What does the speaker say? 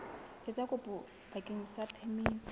etsa kopo bakeng sa phemiti